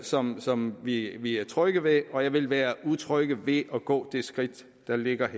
som som vi er trygge ved og jeg vil være utryg ved at gå det skridt der ligger i